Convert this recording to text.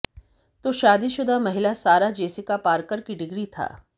तो शादीशुदा महिला सारा जेसिका पार्कर की डिग्री था